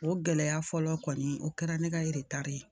O gɛlɛya fɔlɔ kɔni o kɛra ne ka ye